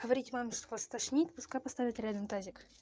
говорить маме что вас тошнит пускай поставит реально тазик